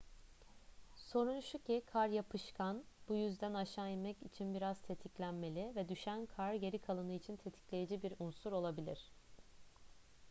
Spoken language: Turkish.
sorun şu ki kar yapışkan bu yüzden aşağı inmek için biraz tetiklenmeli ve düşen kar geri kalanı için tetikleyici bir unsur olabilir